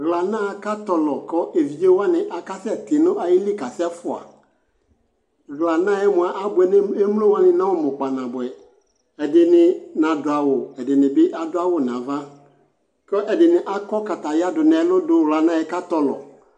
ɛvidzɛ dinikasɛ bʋɛlɛ nʋ adili, ɛvidzɛ ɛdigbɔ adʋ bɛtɛ vɛ kʋ ɔtɔnʋ alɔ ɛdigbɔ bi adʋ ɔgbatawla nʋ ɔwlɔ ayi ɔmɔ kʋ ɔka mɔ, ɛvidzɛ ɔsii ɛtwʋ di adʋ ɔwlɔ ayi ʋmɔ kʋ azɛ kataya ɔgbatawla nʋ ala, ɔwʋ dini dʋ atani ɛtʋ, itsʋ dini bidʋ atani ɛtʋ, ʋdʋnʋ dini bidʋ atani idʋ